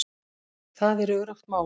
Það er öruggt mál